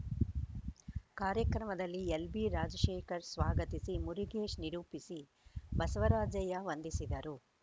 ಕಾರ್ಯಕ್ರಮದಲ್ಲಿ ಎಲ್‌ಬಿ ರಾಜಶೇಖರ್‌ ಸ್ವಾಗತಿಸಿ ಮುರುಗೇಶ್‌ ನಿರೂಪಿಸಿ ಬಸವರಾಜಯ್ಯ ವಂದಿಸಿದರು